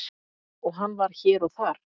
og hann var hér og þar.